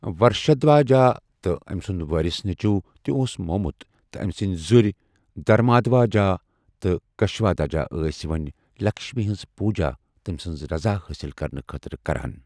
ورشدھواجا تہٕ أمۍ سُنٛد وٲرِث نیٚچوٗ تہِ اوس موٚمُت تہٕ أمۍ سٕنٛدۍ زُرۍ دھرمادھواجا تہٕ کشادھواج ٲسۍ ؤنۍ لکشمی ہٕنٛز پوجا تٔمۍ سٕنٛز رضا حٲصل کرنہٕ خٲطرٕ کران۔